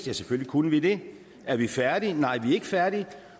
ja selvfølgelig kunne vi det er vi færdige nej vi er ikke færdige